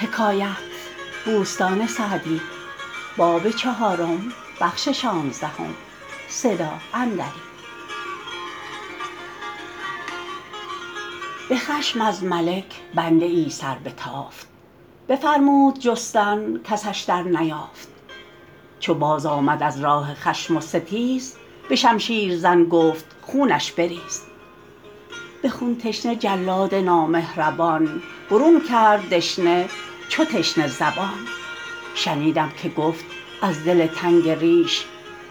به خشم از ملک بنده ای سربتافت بفرمود جستن کسش در نیافت چو بازآمد از راه خشم و ستیز به شمشیر زن گفت خونش بریز به خون تشنه جلاد نامهربان برون کرد دشنه چو تشنه زبان شنیدم که گفت از دل تنگ ریش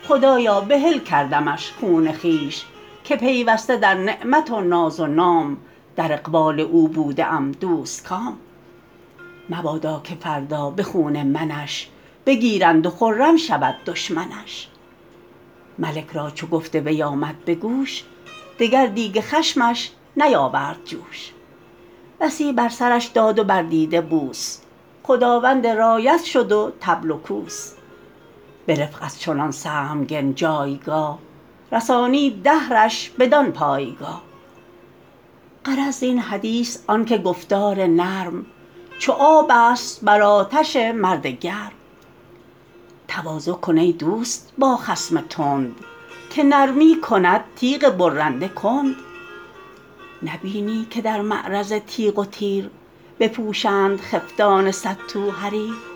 خدایا بحل کردمش خون خویش که پیوسته در نعمت و ناز و نام در اقبال او بوده ام دوستکام مبادا که فردا به خون منش بگیرند و خرم شود دشمنش ملک را چو گفت وی آمد به گوش دگر دیگ خشمش نیاورد جوش بسی بر سرش داد و بر دیده بوس خداوند رایت شد و طبل و کوس به رفق از چنان سهمگن جایگاه رسانید دهرش بدان پایگاه غرض زین حدیث آن که گفتار نرم چو آب است بر آتش مرد گرم تواضع کن ای دوست با خصم تند که نرمی کند تیغ برنده کند نبینی که در معرض تیغ و تیر بپوشند خفتان صد تو حریر